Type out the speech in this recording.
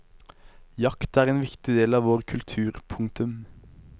Jakt er en viktig del av vår kultur. punktum